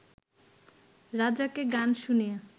রাজাকে গান শুনিয়ে